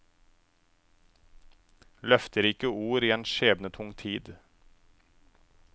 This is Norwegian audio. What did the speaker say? Løfterike ord i en skjebnetung tid.